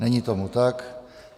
Není tomu tak.